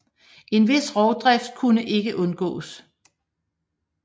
En vis rovdrift kunne ikke undgås